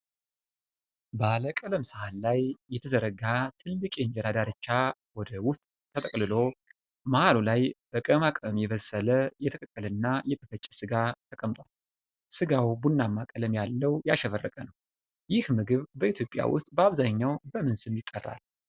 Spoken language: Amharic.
ባለ ቀለም ሳህን ላይ የተዘረጋ ትልቅ የእንጀራ ዳርቻ ወደ ውስጥ ተጠቅልሎ፣ መሃሉ ላይ በቅመማ ቅመም የበሰለ የተቀቀለና የተፈጨ ሥጋ ተቀምጧል። ሥጋው ቡናማ ቀለም ያለው ያሸበረቀ ነው። ይህ ምግብ በኢትዮጵያ ውስጥ በአብዛኛው በምን ስም ይጠራል?